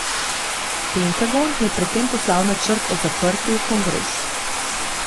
Pentagon je pred tem poslal načrt o zaprtju v kongres.